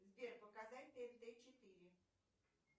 сбер показать тнт четыре